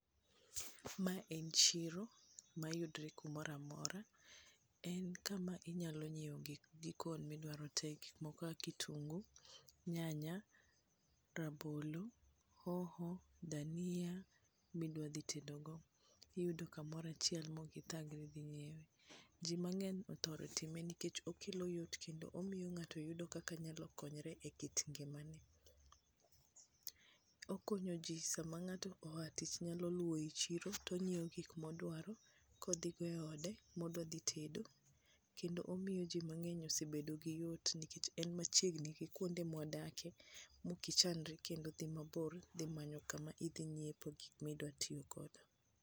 Ma en chiro mayudre kumoro amora en kuma inyalo nyiewe gik jikon midwaro te kaka kitungu ,nyanya ,rabolo, hoho ,dania midwa dhi tedo go ,iyudo kamora chiel ma ok ithagri dhi ng'iewe ,ji mathoth othoro time nikech okelo yot kendo omiyo ngato yudo kaka nyalo konyore e kit ngimane ,okonyo ji sama ng'ato oa tich nyalo luwo i chiro tongiewo gik modwaro kodhi go e ode modhi tedo, kendo omiyo ji mangeny osebedo gi yot nikech en machiegni gi kuonde mwa dake ma ok ichandri kendo kama idhi nyiepe gik midhi ngiewo.